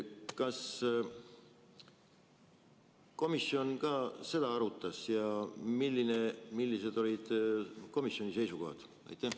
Kas komisjon seda ka arutas ja millised olid komisjoni seisukohad?